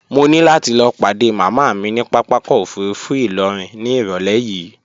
Mo ní láti lọ padé màmá mi ní papákọ̀ òfurufú ìlọrin ní irọ̀lẹ́ yìí